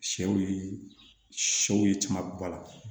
Sɛw ye sɛw ye caman ba